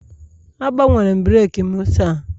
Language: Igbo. Agbanwere m breeki m taa